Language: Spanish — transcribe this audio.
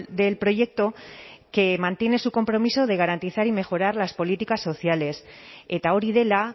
del proyecto que mantiene su compromiso de garantizar y mejorar las políticas sociales eta hori dela